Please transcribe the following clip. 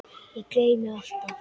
Ég gleymi alltaf.